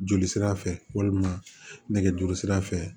Joli sira fɛ walima nɛgɛjuru sira fɛ